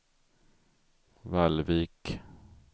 Vallvik